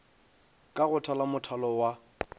ka go thala mothalo wa